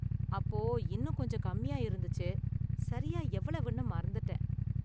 அப்போ இன்னும் கொஞ்சம் கம்மியா இருந்துச்சு, சரியா எவ்வளவுன்னு மறந்துட்டேன்.